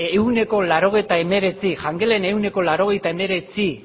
ehuneko laurogeita hemeretzi jangelen ehuneko laurogeita hemeretzi